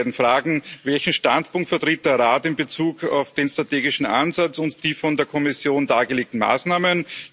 Daher die beiden Fragen Welchen Standpunkt vertritt der Rat in Bezug auf den strategischen Ansatz und die von der Kommission dargelegten Maßnahmen?